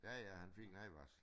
Ja ja han fik en advarsel